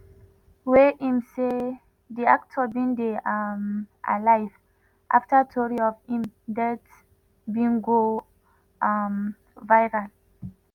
wey im say di actor bin dey um alive afta tori of im death bin go um viral.